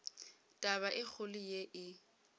taba e kgolo ye e